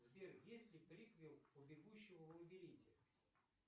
сбер есть ли приквел у бегущего в лабиринте